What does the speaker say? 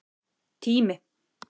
Tími